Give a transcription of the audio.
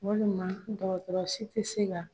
Walima dɔgɔtɔrɔ si tɛ se ka